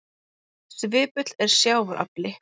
Svipull er sjávar afli.